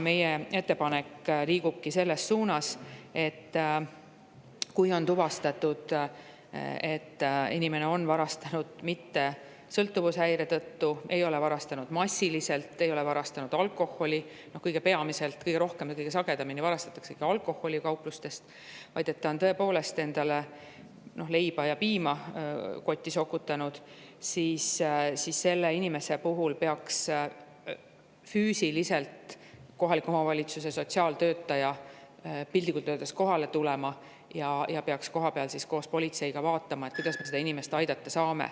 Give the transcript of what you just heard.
Meie ettepanek liigubki selles suunas, et kui on tuvastatud, et inimene ei ole varastanud mitte sõltuvushäire tõttu, ta ei ole varastanud massiliselt, ta ei ole varastanud alkoholi – kõige rohkem ja kõige sagedamini varastatakse kauplustest alkoholi –, vaid ta on tõepoolest endale leiba ja piima kotti sokutanud, siis peaks kohaliku omavalitsuse sotsiaaltöötaja piltlikult öeldes füüsiliselt kohale tulema ja kohapeal koos politseiga vaatama, kuidas seda inimest aidata saab.